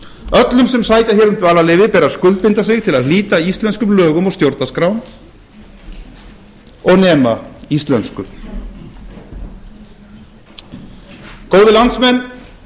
öllum sem sækja hér um dvalarleyfi ber að skuldbinda sig til að hlíta íslenskum lögum og stjórnarskrá og nema íslensku góðir landsmenn